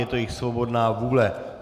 Je to jejich svobodná vůle.